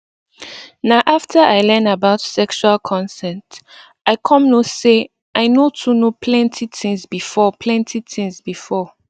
na after i learn about sexual consent i come know say i no too know plenty things before plenty things before